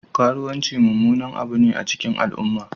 Kruwanci mummunan abu ne a cikin al'umma